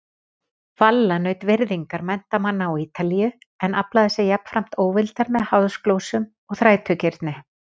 Valla naut virðingar menntamanna á Ítalíu en aflaði sér jafnframt óvildar með háðsglósum og þrætugirni.